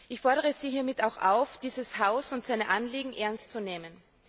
Ich fordere Sie hiermit auch auf, dieses Haus und seine Anliegen ernst zu nehmen.